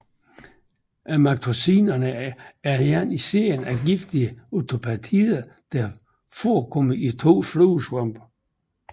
Amatoxinerne er en serie af giftige octapeptider der forekommer i to fluesvampe